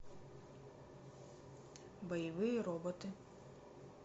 боевые роботы